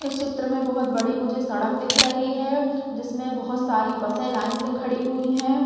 इस चित्र में बहूत बड़ी मुझे सड़क दिख रही है जिसमे बहूत सारी बसे लाइन से खड़ी हुई है।